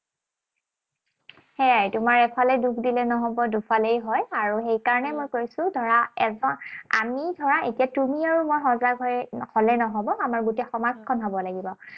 সেয়াই, তোমাৰ এফালে দোষ দিলেই নহব, দুফালেই হয়। আৰু সেইকাৰণেই মই কৈছো, ধৰা আমি ধৰা এতিয়া তুমি আৰু মই সজাগ হলেই নহব। আমাৰ গোটেই সমাজখন হব লাগিব।